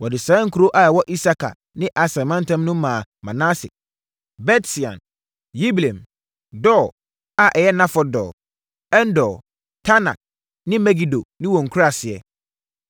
Wɔde saa nkuro a ɛwɔ Isakar ne Aser mantam mu no maa Manase: Bet-Sean, Yibleam, Dor (a ɛyɛ Nafɔt Dor), En-Dor, Taanak ne Megido ne wɔn nkuraaseɛ.